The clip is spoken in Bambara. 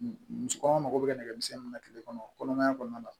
Musokɔnɔma mago bɛ nɛgɛmisɛnnin mun na kile kɔnɔ kɔnɔmaya kɔnɔna la